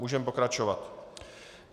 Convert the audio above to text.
Můžeme pokračovat.